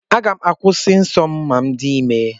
Aga m akwụsị ịhụ nsọ m ma m dị ime.